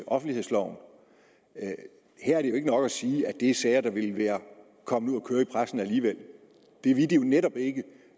offentlighedsloven her er det jo ikke nok at sige at det er sager der ville være kommet ud at køre i pressen alligevel det ville de jo netop ikke